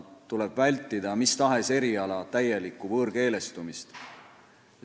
Tuleb vältida mis tahes eriala täielikku võõrkeelestumist.